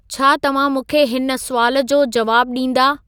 छा तव्हां मूंखे हिन सुवाल जो जवाबु ॾींदा